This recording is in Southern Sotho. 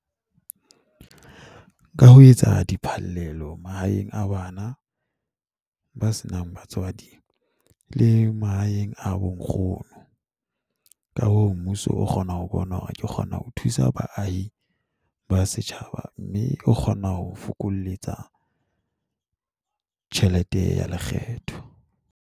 Ka ho etsa diphallelo mahaeng a bana ba senang batswadi le mahaeng a bonkgono, ka hoo mmuso o kgona ho bona hore ke kgona ho thusa baahi ba setjhaba mme o kgona ho o fokoletsa tjhelete ya lekgetho.